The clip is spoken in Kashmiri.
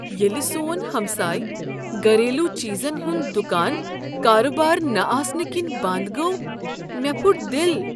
ییٚلہ سون ہمسایہ گریلوچیزن ہُنٛد دُکان کاربار نہ آسنہٕ کنۍ بنٛد گوٚو مےٚ پھُٹ دل۔